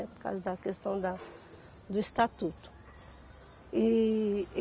É, por causa da questão da do estatuto. E